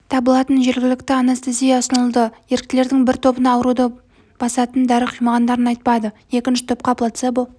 табылатын жергілікті анестезия ұсынылды еріктілердің бір тобына ауруды бастатын дәрі құймағандарын айтпады екінші топқа плацебо